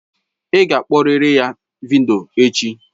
Ị ga-akpọrịrị ya vidiyo echi!